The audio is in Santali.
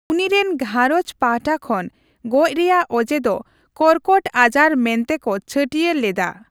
ᱩᱱᱤ ᱨᱮᱱ ᱜᱷᱟᱨᱚᱸᱡᱽ ᱯᱟᱦᱴᱟ ᱠᱷᱚᱱ ᱜᱚᱡ ᱨᱮᱭᱟᱜ ᱚᱡᱮ ᱫᱚ ᱠᱚᱨᱠᱚᱴ ᱟᱡᱟᱨ ᱢᱮᱱᱛᱮ ᱠᱚ ᱪᱷᱟᱹᱴᱭᱟᱹᱨ ᱞᱮᱫᱟ ᱾